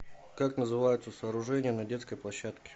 как называются сооружения на детской площадке